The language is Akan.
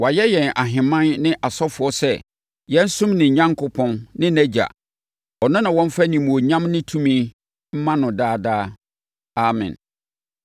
Wayɛ yɛn ahemman ne asɔfoɔ sɛ yɛnsom ne Onyankopɔn ne nʼAgya. Ɔno na wɔmfa animuonyam ne tumi mma no daa daa! Amen.